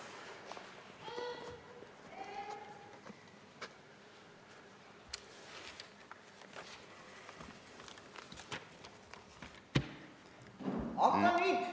Mõtle!